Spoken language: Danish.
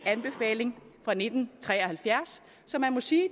anbefaling fra nitten tre og halvfjerds så man må sige